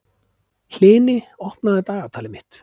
Hlini, opnaðu dagatalið mitt.